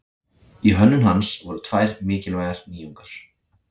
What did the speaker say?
Í hönnun hans voru tvær mikilvægar nýjungar.